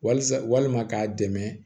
Walisa walima k'a dɛmɛ